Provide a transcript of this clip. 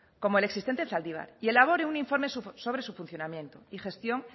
como el existente en zaldibar y elabore un informe sobre su funcionamiento y gestión